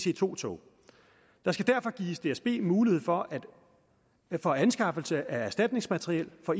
ic2 tog der skal derfor gives dsb mulighed for for anskaffelse af erstatningsmateriel for